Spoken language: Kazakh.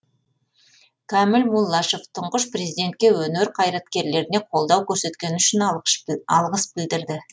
кәміл муллашев тұңғыш президентке өнер қайраткерлеріне қолдау көрсеткені үшін алғыс білдірді